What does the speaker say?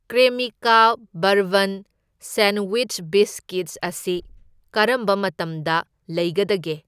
Cremica bourbon sandwich biscuits ꯑꯁꯤ ꯀꯔꯝꯕ ꯃꯇꯝꯗ ꯂꯩꯒꯗꯒꯦ?